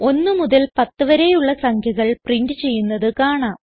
1 മുതൽ 10 വരെയുള്ള സംഖ്യകൾ പ്രിന്റ് ചെയ്യുന്നത് കാണാം